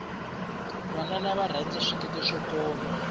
vanwana va rhanza swikete swo koma